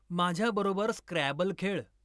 माझ्याबरोबर स्क्रॅबल खेळ.